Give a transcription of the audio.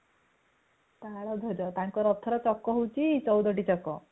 ତଳଦ୍ଵାଜ ତାଙ୍କ ରଥର ଛକ ହାଉଛି ଚଉଦଟି ଚକ